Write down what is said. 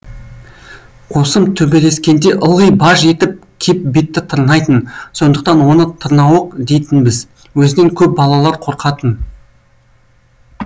қосым төбелескенде ылғи баж етіп кеп бетті тырнайтын сондықтан оны тырнауық дейтінбіз өзінен көп балалар қорқатын